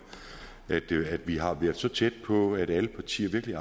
at vi har været så tæt på at alle partier virkelig